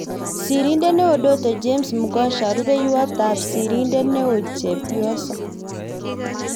Sirindeet �eoo -Doto James Mgosha. Rupeiywot sirindet neoo-chepyoso